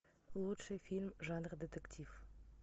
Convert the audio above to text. лучший фильм жанра детектив